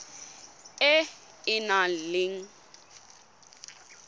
e e nang le bokgoni